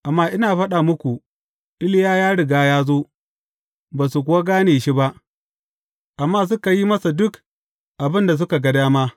Amma ina faɗa muku, Iliya ya riga ya zo, ba su kuwa gane shi ba, amma suka yi masa duk abin da suka ga dama.